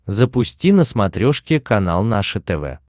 запусти на смотрешке канал наше тв